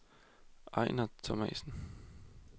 Ejnar Thomasen